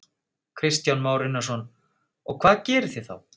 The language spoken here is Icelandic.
Kristján Már Unnarsson: Og hvað gerið þið þá?